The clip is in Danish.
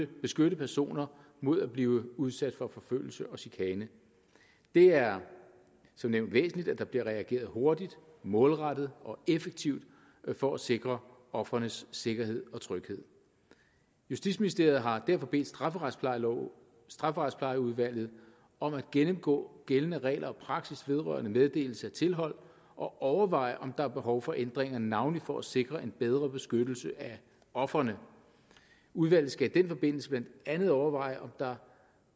beskytte personer mod at blive udsat for forfølgelse og chikane det er som nævnt væsentligt at der bliver reageret hurtigt målrettet og effektivt for at sikre ofrenes sikkerhed og tryghed justitsministeriet har derfor bedt strafferetsplejeudvalget strafferetsplejeudvalget om at gennemgå gældende regler og praksis vedrørende meddelelse af tilhold og at overveje om der er behov for ændringer navnlig for at sikre en bedre beskyttelse af ofrene udvalget skal i den forbindelse blandt andet overveje om der